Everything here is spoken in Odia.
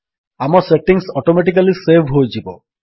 ଆମ ସେଟିଙ୍ଗ୍ସ ଅଟୋମେଟିକାଲୀ ସେଭ୍ ହୋଇଯିବ